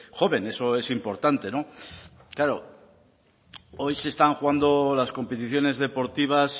joven eso es importante no claro hoy se están jugando las competiciones deportivas